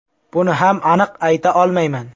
Buni ham aniq ayta olmayman.